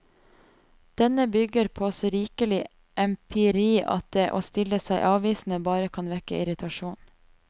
Denne bygger på så rikelig empiri at det å stille seg avvisende bare kan vekke irritasjon.